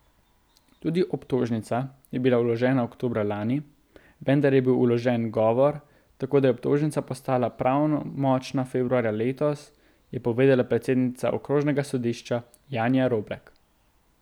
Tudi obtožnica je bila vložena oktobra lani, vendar je bil vložen ugovor, tako da je obtožnica postala pravnomočna februarja letos, je povedala predsednica okrožnega sodišča Janja Roblek.